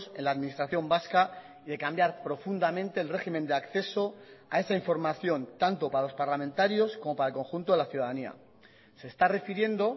en la administración vasca y de cambiar profundamente el régimen de acceso a esa información tanto para los parlamentarios como para el conjunto de la ciudadanía se está refiriendo